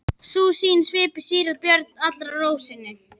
Sú sýn svipti síra Björn allri ró sinni.